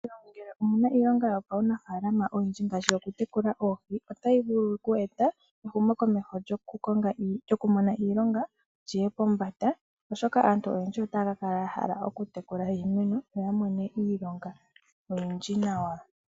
Ngele omuna iilonga yopaunafaalama oyindji ngaashi okutekula oohi otayi vulu oku eta ehumokomeho lyokumona iilonga liye pombanda, oshoka aantu oyendji otaya kakala yahala okutekula iinamwenyo noya mone iilonga oyindji nawa.